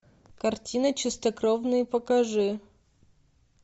картина чистокровные покажи